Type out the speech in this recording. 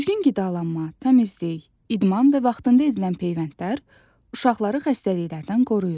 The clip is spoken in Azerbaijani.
Düzgün qidalanma, təmizlik, idman və vaxtında edilən peyvəndlər uşaqları xəstəliklərdən qoruyur.